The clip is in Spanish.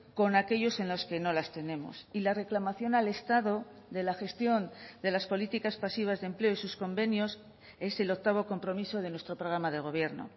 con aquellos en las que no las tenemos y la reclamación al estado de la gestión de las políticas pasivas de empleo y sus convenios es el octavo compromiso de nuestro programa de gobierno